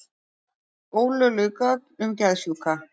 Ólögleg gögn um geðsjúka